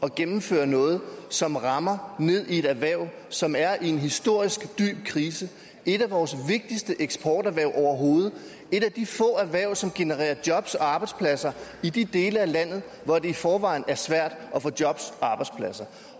at gennemføre noget som rammer ned i et erhverv som er i en historisk dyb krise et af vores vigtigste eksporterhverv overhovedet et af de få erhverv som genererer jobs og arbejdspladser i de dele af landet hvor det i forvejen er svært at få jobs